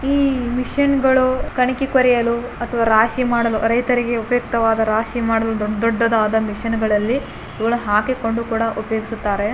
ಇಲ್ಲಿ ಮಿಷನ್ ಗಳು ಗಣಿಕೆ ಕೊರೆಯಲು ಅಥವಾ ರಾಶಿ ಮಾಡಲು ರೈತರಿಗೆ ಉಪಯುಕ್ತವಾದ ರಾಶಿ ಮಾಡಲು ದೊಡ್ಡ ದೊಡ್ಡದಾದ ಮಿಷನ್ ಗಳಲ್ಲಿ ಇವುಗಳ ಹಾಕಿಕೊಂಡು ಕೂಡ ಉಪಯೋಗಿಸುತ್ತಾರೆ.